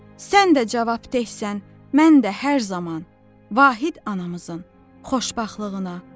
Sən də cavabdehsən, mən də hər zaman Vahid anamızın xoşbəxtliyinə.